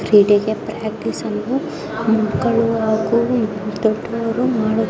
ಕ್ರೀಡೆಗೆ ಪ್ರಾಕ್ಟೀಸ್ ಅನ್ನ ಮಕಲ್ಲು ಹಾಗು ದೊಡ್ಡವರು ಮಾಡ್ತರ್ರ್ --